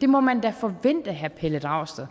det må man da forvente herre pelle dragsted